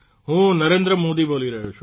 હું નરેન્દ્ર મોદી બોલી રહ્યો છું